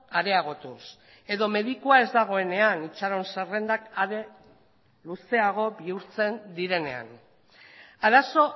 areagotuz edo medikua ez dagoenean itxaron zerrendak are luzeago bihurtzen direnean arazo